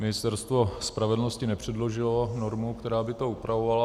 Ministerstvo spravedlnosti nepředložilo normu, která by to upravovala.